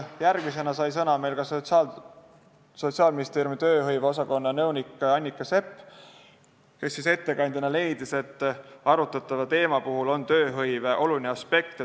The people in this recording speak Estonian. Järgmisena sai sõna Sotsiaalministeeriumi tööhõive osakonna nõunik Annika Sepp, kes leidis, et arutatava teema puhul on tööhõive oluline aspekt.